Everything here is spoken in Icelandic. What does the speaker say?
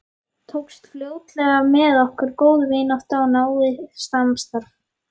Tókst fljótlega með okkur góð vinátta og náið samstarf.